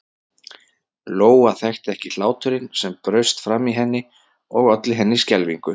Lóa þekkti ekki hláturinn sem braust fram í henni og olli henni skelfingu.